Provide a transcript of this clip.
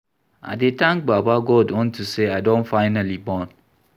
I dey thank baba God unto say I don finally born